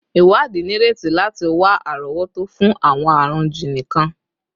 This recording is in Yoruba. Iwadi nireti lati wa arowoto fun awọn arun jiini kan